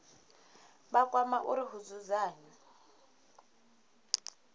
vha kwama uri hu dzudzanywe